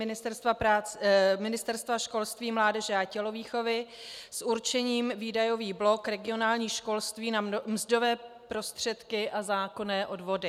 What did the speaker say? Ministerstvo školství, mládeže a tělovýchovy s určením výdajový blok regionální školství na mzdové prostředky a zákonné odvody.